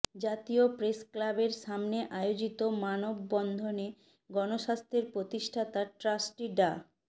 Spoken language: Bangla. জাতীয় প্রেসক্লাবের সামনে আয়োজিত মানববন্ধনে গণস্বাস্থ্যের প্রতিষ্ঠাতা ট্রাস্টি ডা